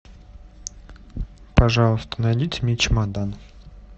пожалуйста найдите мне чемодан